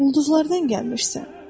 Ulduzlardan gəlmisən.